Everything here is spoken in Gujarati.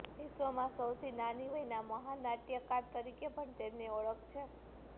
વિશ્વમાં સૌથી નાની વયના મહાન નાટયકાર તરીકે પણ તેમની ઓળખ છે